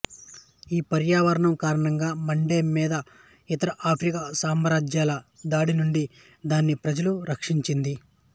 ఈ పర్యావరణం కారణంగా మండే మీద ఇతర ఆఫ్రికా సామ్రాజ్యాల దాడి నుండి దాని ప్రజలను రక్షించింది